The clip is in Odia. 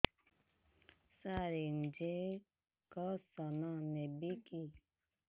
ସାର ଇଂଜେକସନ ନେବିକି